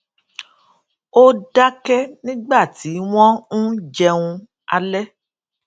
ó dáké nígbà tí wón ń jẹun alé